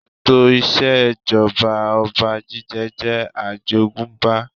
Ètò ìṣèjọba ọba jíjẹ jẹ́ àjogúnbá